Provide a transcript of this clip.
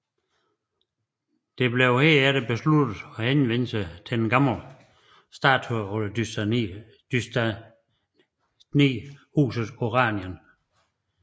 Det blev derfor besluttet at henvende sig til det gamle statholderdynasti husetOranien